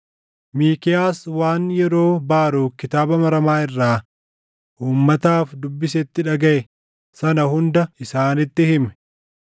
Miikiyaas waan yeroo Baaruk kitaaba maramaa irraa uummataaf dubbisetti dhagaʼe sana hunda isaaniitti hime.